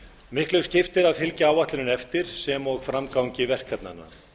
miklu skiptir að fylgja áætluninni eftir sem og framgangi verkefnanna